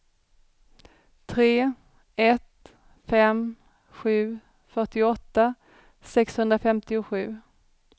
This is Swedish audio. tre ett fem sju fyrtioåtta sexhundrafemtiosju